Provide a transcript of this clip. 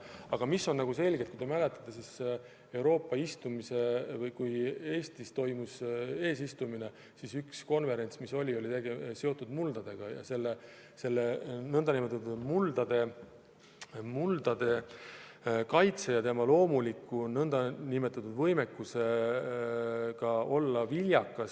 Aga kui te mäletate, siis Eesti eesistumise ajal korraldati üks konverents, mis oli seotud muldadega, muldade kaitsega ja nende loomuliku nn võimekusega olla viljakas.